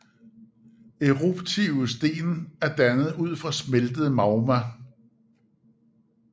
Eruptive sten er dannet ud fra smeltet magma